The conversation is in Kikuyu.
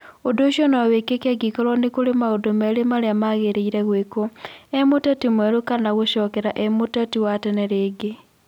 Ũndũ ũcio no wĩkĩke angĩkorũo nĩ kũrĩ maũndũ merĩ marĩa magĩrĩire gwĩkwo; u mũteti mwerũ kana gucokera u mũteti wa tene rĩngĩ.